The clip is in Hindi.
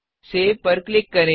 Saveसेव पर क्लिक करें